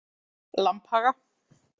Lambhaga